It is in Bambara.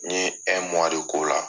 N ɲe de kɛ o la